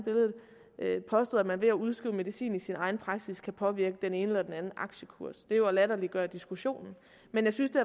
jeg ved at man ved at udskrive medicin i sin egen praksis kan påvirke den ene eller den anden aktiekurs det er jo at latterliggøre diskussionen men jeg synes det